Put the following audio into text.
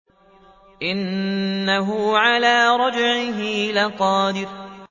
إِنَّهُ عَلَىٰ رَجْعِهِ لَقَادِرٌ